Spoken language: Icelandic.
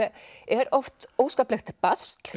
er oft óskaplegt basl